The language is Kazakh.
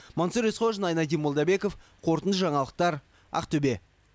мансұр есқожин айнадин молдабеков қорытынды жаңалықтар ақтөбе